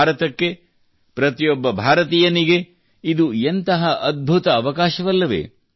ಭಾರತಕ್ಕೆ ಪ್ರತಿಯೊಬ್ಬ ಭಾರತೀಯನಿಗೆ ಇದು ಎಂತಹ ಅದ್ಭುತ ಅವಕಾಶವಲ್ಲವೇ